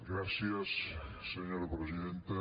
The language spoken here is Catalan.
gràcies senyora presidenta